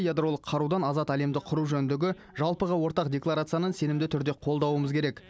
ядролық қарудан азат әлемді құру жөніндегі жалпыға ортақ декларацияны сенімді түрде қолдауымыз керек